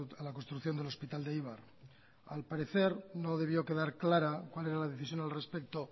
a la construcción del hospital de eibar al parecer no debió quedar clara cuál era la decisión al respecto